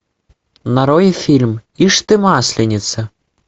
нарой фильм ишь ты масленица